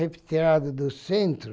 do centro.